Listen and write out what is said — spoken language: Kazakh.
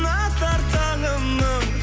атар таңымның